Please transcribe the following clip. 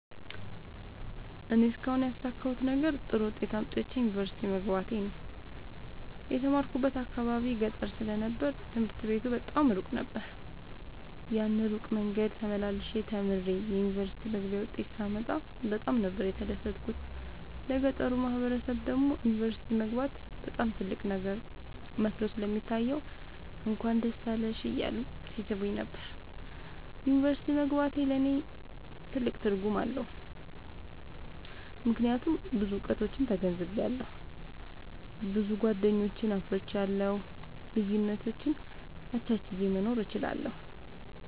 እኔ እስካሁን ያሣካሁት ነገር ጥሩ ዉጤት አምጥቼ ዩኒቨርሲቲ መግባቴ ነዉ። የተማርኩበት አካባቢ ገጠር ስለ ነበር ትምህርት ቤቱ በጣም እሩቅ ነበር። ያን እሩቅ መንገድ ተመላልሸ ተምሬ የዩኒቨርሲቲ መግቢያ ዉጤት ሳመጣ በጣም ነበር የተደሠትኩት ለገጠሩ ማህበረሠብ ደግሞ ዩኒቨርሲቲ መግባት በጣም ትልቅ ነገር መስሎ ስለሚታየዉ እንኳን ደስ አለሽ እያሉ ይሥሙኝ ነበር። ዩኒቨርሢቲ መግባቴ ለኔ ትልቅ ትርጉም አለዉ። ምክያቱም ብዙ እዉቀቶችን ተገንዝቤአለሁ። ብዙ ጎደኞችን አፍርቻለሁ። ልዩነቶችን አቻችየ መኖር እችላለሁ።